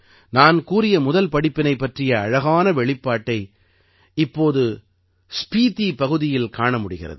நான் கூறிய முதல் படிப்பினை பற்றிய அழகான வெளிப்பாட்டை இப்போது ஸ்பீதீ பகுதியில் காண முடிகிறது